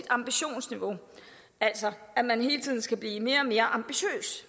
ambitionsniveau altså at man hele tiden skal blive mere og mere ambitiøs